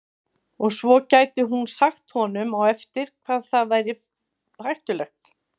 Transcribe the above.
Og svo gæti hún sagt honum á eftir hvað væri hættulegt.